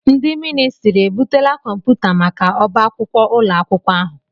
Ndị ministrị e butela kọmputa maka ọ́bá akwụkwọ ụlọ akwụkwọ ahụ?